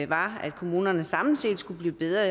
var at kommunerne samlet set skulle blive bedre